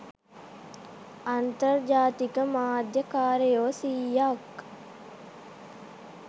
අන්තර්ජාතික මාධ්‍ය කාරයෝ සීයක්